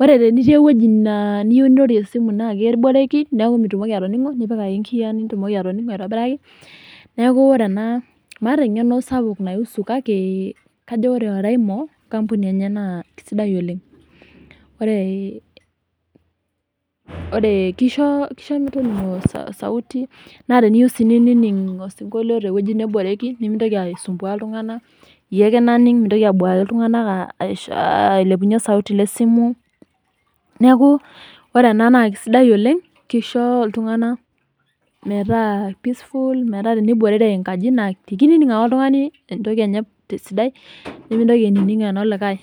ore tenitii ewueji naa eniyieu nirorie esimu na keboreki neeku mitumoki atoning'o, nipik ake nkiyiaa nitumoki atoning'o aitobiraki. Neeku ore ena, maata eng'eno sapuk nai husu kake kajo ore Oraimo, enkampuni ena naa kesidai. Ore kisho metoning'o osauti, na teniyieu si ninining' osinkolio tewueji neboreki, nimintoki aisumbua iltung'anak, yie ake naning' mintoki abuaki iltung'anak ailepunye osauti le simu, neeku ore ena naa kesidai oleng, kisho iltung'anak metaa peaceful, metaa teniborere enkaji, na kinining' ake oltung'ani entoki enye tesidai, nimintoki ainining' eno likae.